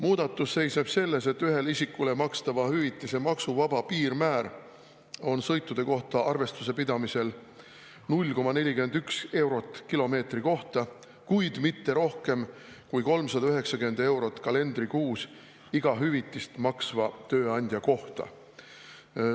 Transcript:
Muudatus seisneb selles, et ühele isikule makstava hüvitise maksuvaba piirmäär on sõitude kohta arvestuse pidamise korral 0,41 eurot kilomeetri kohta, kuid mitte rohkem kui 390 eurot kalendrikuus iga hüvitist maksva tööandja kohta.